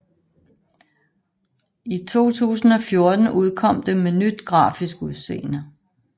I 2014 udkom det med nyt grafisk udseende